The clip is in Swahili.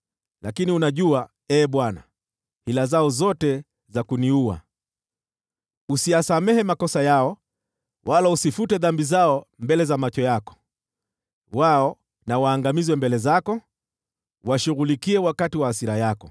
Lakini unajua, Ee Bwana , hila zao zote za kuniua. Usiyasamehe makosa yao wala usifute dhambi zao mbele za macho yako. Wao na waangamizwe mbele zako; uwashughulikie wakati wa hasira yako.